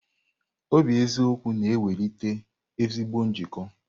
Obi eziokwu na-ewulite ezigbo njikọ.